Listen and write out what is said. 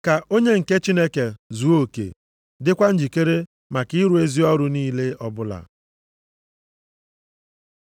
ka onye nke Chineke zuo oke, dịkwa njikere maka ịrụ ezi ọrụ niile ọbụla.